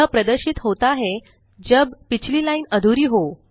यह प्रदर्शित होता है जब पिछली लाइन अधूरी हो